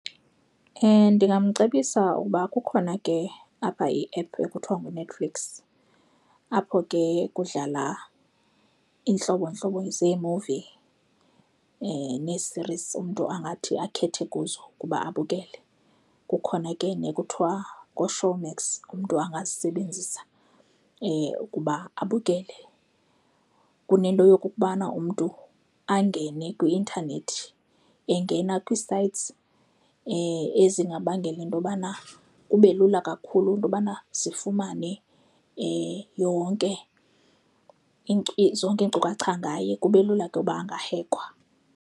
Ndingamcebisa uba kukhona ke apha iephu ekuthiwa nguNetflix apho ke kudlala iintlobontlobo zeemuvi nee-series umntu angathi akhethe kuzo ukuba abukele. Kukhona ke nekuthiwa ngooShowmax, umntu angazisebenzisa ukuba abukele kunento yokokubana umntu angene kwi-ntanethi engena kwii-sites ezingabangela into yobana kube lula kakhulu into yobana zifumane yonke zonke iinkcukacha ngaye, kube lula ke uba angahekhwa.